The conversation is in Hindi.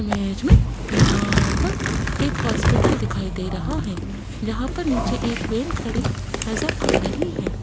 इमेज में यहाँ पर एक हॉस्पिटल दिखाई दे रहा है जहाँ पर नीचे एक वैन खड़ी नजर आ रही है।